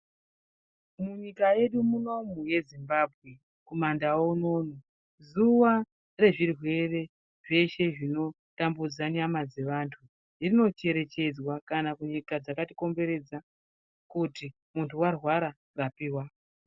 Munyika yedu munomu yeZimbabwe kumandau unono zuwa rezvirwere zveshe zvinotambudza nyama dzevantu rinocherechedzwa kana kunyika dzakatikomberedza kuti muntu warwara rapiwa.